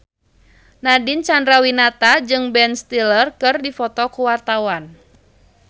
Nadine Chandrawinata jeung Ben Stiller keur dipoto ku wartawan